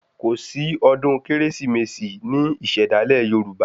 Kòsí ọdún Kérésìmesì ní ìṣẹ̀dálẹ̀ Yoruba